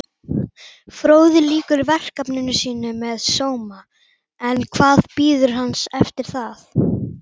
Fróði lýkur verkefni sínu með sóma en hvað bíður hans eftir það?